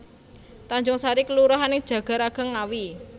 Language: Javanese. Tanjungsari kelurahan ing Jagaraga Ngawi